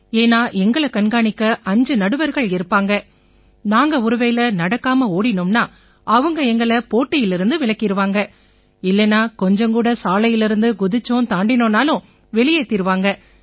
ஏன்னா எங்களை கண்காணிக்க 5 நடுவர்கள் இருப்பாங்க நாங்க ஒருவேளை நடக்காம ஓடினோம்னா அவங்க எங்களை போட்டியிலேர்ந்து விலக்கிருவாங்க இல்லைன்னா கொஞ்சம் கூட சாலைலேர்ந்து குதிச்சோம் தாண்டினோம்னாலும் வெளியேத்திருவாங்க